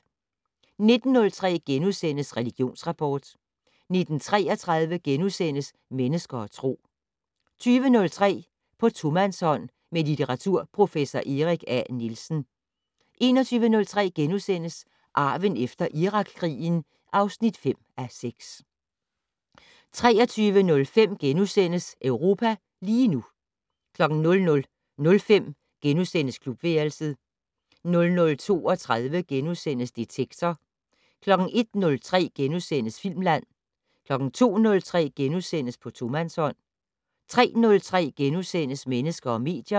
19:03: Religionsrapport * 19:33: Mennesker og Tro * 20:03: På tomandshånd med litteraturprofessor Erik A. Nielsen 21:03: Arven efter Irakkrigen (5:6)* 23:05: Europa lige nu * 00:05: Klubværelset * 00:32: Detektor * 01:03: Filmland * 02:03: På tomandshånd * 03:03: Mennesker og medier *